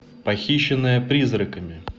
похищенная призраками